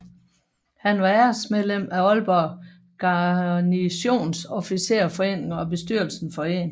Han var æresmedlem af Aalborg Garnisons Officersforening og af bestyrelsen for 1